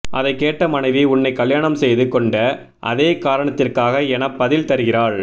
அதைக் கேட்ட மனைவி உன்னைக் கல்யாணம் செய்து கொண்ட அதே காரணத்திற்காக எனப் பதில் தருகிறாள்